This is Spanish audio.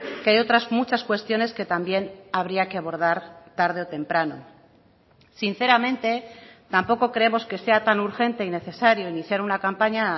que hay otras muchas cuestiones que también habría que abordar tarde o temprano sinceramente tampoco creemos que sea tan urgente y necesario iniciar una campaña